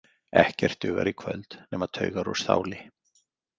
Ekkert dugar í kvöld nema taugar úr stáli.